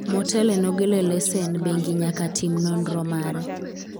motelo ne golo lesen bengi nyaka tim nonro mare